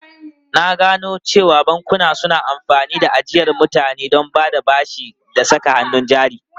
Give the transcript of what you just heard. Na gano cewa bankuna suna amfani da ajiyar mutane don bada bashi da saka hannun jari.